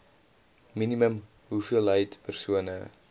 minimum hoeveelheid persone